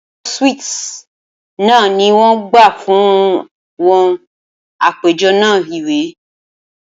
Awọn suites náà ni wọ́n gbà fún wọn fún àpéjọ náà iwe